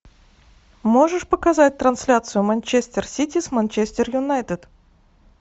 можешь показать трансляцию манчестер сити с манчестер юнайтед